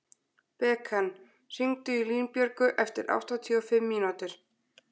Bekan, hringdu í Línbjörgu eftir áttatíu og fimm mínútur.